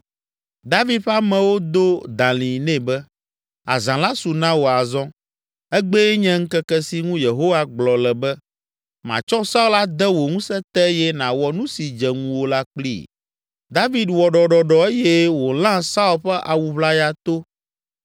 David ƒe amewo do dalĩ nɛ be, “Azã la su na wò azɔ. Egbee nye ŋkeke si ŋu Yehowa gblɔ le be, ‘Matsɔ Saul ade wò ŋusẽ te eye nàwɔ nu si dze ŋuwò la kplii!’ ” David wɔ ɖɔɖɔɖɔ eye wòlã Saul ƒe awu ʋlaya to!